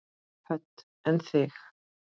Hödd: En þig?